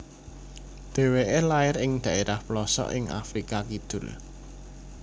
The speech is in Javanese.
Dheweke lair ing dhaerah plosok ing Afrika Kidul